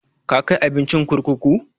Ka kai abinci kurkuku?